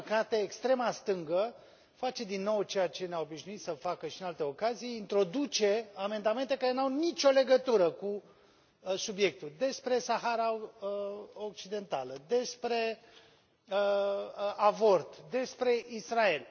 Din păcate, extrema stângă face din nou ceea ce ne a obișnuit să facă și în alte ocazii introduce amendamente care nu au nicio legătură cu subiectul despre Sahara Occidentală, despre avort, despre Israel.